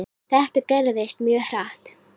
Þetta gerðist mjög hratt.